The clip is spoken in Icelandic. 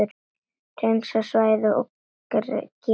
Hreinsa svæðið og gera stíg.